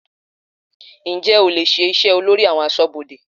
Ǹjẹ́ o lè ṣe iṣẹ́ olórí àwọn aṣọ́bodè?